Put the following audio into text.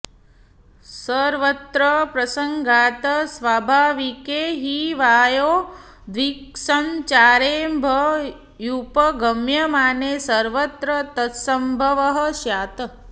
सर्वत्र प्रसंगात् स्वाभाविके हि वायोर्दिक्संचारेऽभ्युपगम्यमाने सर्वत्र तत्संभवः स्यात्